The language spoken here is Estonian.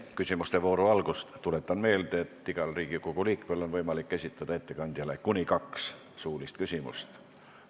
Enne küsimuste vooru algust tuletan meelde, et igal Riigikogu liikmel on võimalik esitada ettekandjale kuni kaks küsimust.